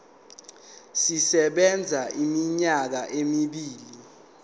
sisebenza iminyaka emibili